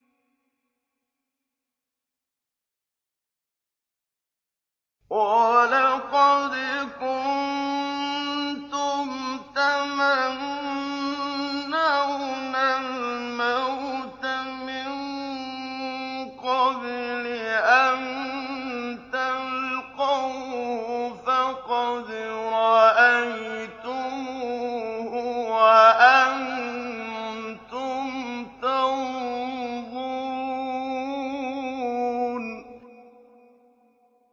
وَلَقَدْ كُنتُمْ تَمَنَّوْنَ الْمَوْتَ مِن قَبْلِ أَن تَلْقَوْهُ فَقَدْ رَأَيْتُمُوهُ وَأَنتُمْ تَنظُرُونَ